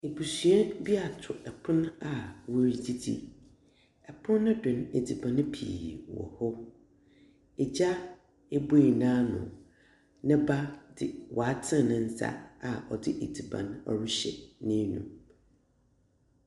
Ebusua bi atow pon a woridzidzi. Pon no do no, edziban pii wɔ hɔ. Egya ebue n’ano, ne ba dze ɔatsen ne nsa a ɔdze edziban rehyɛ n’anomu.